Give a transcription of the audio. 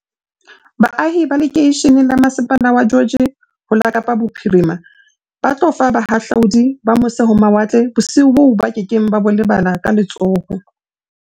Baahi ba lekeishene la masepala wa George ho la Kapa Bophiri ma ba tlo fa bahahlaudi ba mose-ho-mawatle bosiu boo ba ke keng ba bo lebala ka le tsholo la